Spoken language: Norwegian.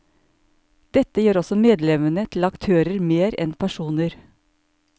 Dette gjør også medlemmene til aktører mer enn personer.